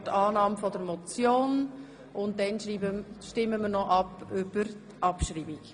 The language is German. Wir stimmen über die Annahme der Motion und dann über die Abschreibung ab.